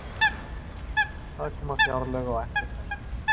Það koma fjárlög á eftir þessum